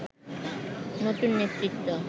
নতুন নেতৃত্ব